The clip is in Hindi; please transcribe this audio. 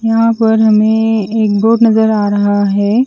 यहा पर हमे एक बोर्ड नज़र आ रहा है।